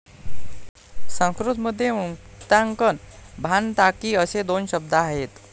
संस्कृत मध्ये वृत्तांकन भानताकीअसे दोन शब्द आहेत